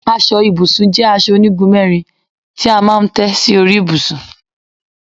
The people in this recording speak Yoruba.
Aso ibùsùn jé aso onigun mérin ti a maa n té si ori ibusun